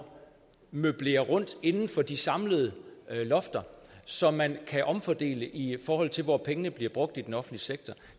år møblere rundt inden for de samlede lofter så man kan omfordele i forhold til hvor pengene bliver brugt i den offentlige sektor